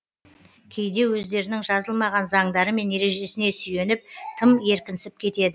кейде өздерінің жазылмаған заңдары мен ережесіне сүйеніп тым еркінсіп кетеді